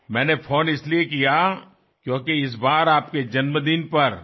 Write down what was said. నేను ఫోన్ ఎందుకు చేసానంటే ఈసారి మీ పుట్టినరోజునాడు